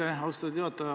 Aitäh, austatud juhataja!